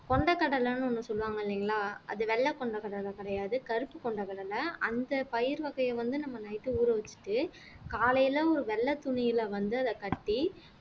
கொண்டைக்கடலைன்னு ஒண்ணு சொல்லுவாங்க இல்லைங்களா அது வெள்ளை கொண்டைக்கடலைதான் கிடையாது கருப்பு கொண்டைக்கடலை அந்த பயிர் வகையை வந்து நம்ம night ஊற வச்சிட்டு காலையில ஒரு வெள்ளைத் துணியில வந்து அத கட்டி